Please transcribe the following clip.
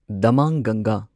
ꯗꯃꯥꯡꯒꯪꯒꯥ